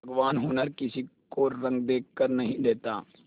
भगवान हुनर किसी को रंग देखकर नहीं देता